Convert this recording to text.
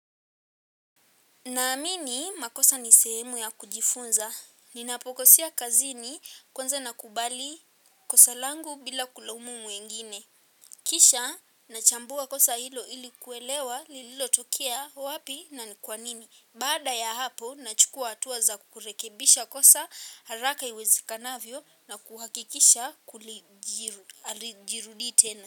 Naamini makosa ni sehemu ya kujifunza. Ninapokosea kazini kwanza nakubali kosa langu bila kulaumu mwingine. Kisha nachambua kosa hilo ili kuelewa lililo tokea wapi na ni kwa nini. Baada ya hapo nachukua hatua za kurekebisha kosa haraka iwezekanavyo na kuhakikisha hajirudii tena.